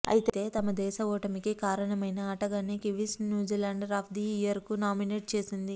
అయితే తమ దేశ ఓటమికి కారణమైన ఆటగాన్నే కివీస్ న్యూజిలాండర్ ఆఫ్ ది ఇయర్కు నామినేట్ చేసింది